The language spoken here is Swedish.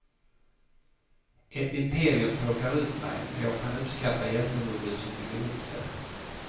Ett imperium tråkar ut mig, men jag kan uppskatta hjältemodet som bygger upp det.